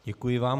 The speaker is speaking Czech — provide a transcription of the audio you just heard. Děkuji vám.